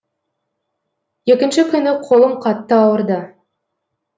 екінші күні қолым қатты ауырды